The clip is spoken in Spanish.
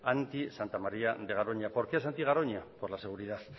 anti santa maría de garoña por qué es anti garoña por la seguridad